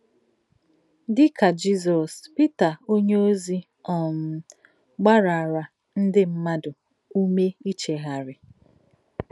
Dị̀ kà Jizọ́s, Pítà ọ̀nyéọ̀zì um gbàrárà ńdí mmádụ̀ ùmè ìchèghàrí.